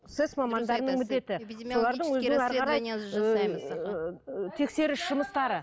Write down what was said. сэс мамандарының міндеті тексеріс жұмыстары